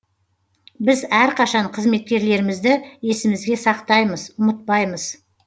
біз әрқашан қызметкерлерімізді есімізге сақтаймыз ұмытпаймыз